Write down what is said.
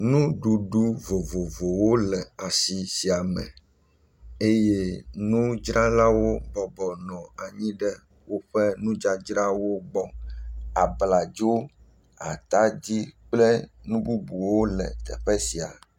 Nuɖuɖu vovovowo le asi sia me eye nudzralawo bɔbɔ nɔ anyi ɖe woƒe nudzadzrawo gbɔ, abladzo, atadi kple nu bubuwo le teƒe sia.